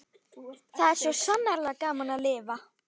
Það var svo sannarlega gaman að lifa!